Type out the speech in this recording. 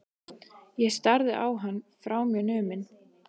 Ég starði á hann, frá mér numin.